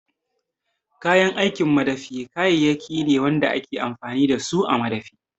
Kayan aikin madafi kayayyaki ne wanda ake amfani da su a madafi